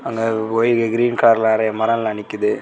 ஆ white green கார்லெடைய மரல்லா நிக்குது.